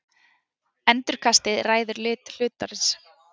Endurkastið ræður lit hlutarins.